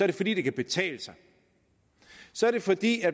det fordi det kan betale sig så er det fordi